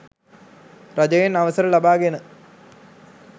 රජයෙන් අවසර ලබාගෙන